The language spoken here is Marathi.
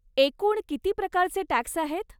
एकूण किती प्रकारचे टॅक्स आहेत?